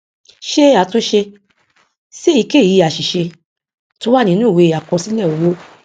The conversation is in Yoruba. ṣe àtúnṣe sí èyíkèyí àṣìṣe tó wà nínú ìwé àkọsílẹ owó